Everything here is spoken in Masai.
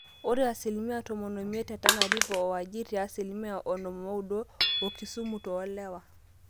ore asilimia tomon oimiet te tanariver o wajir te asilimia onom ooudo okisumu toolewa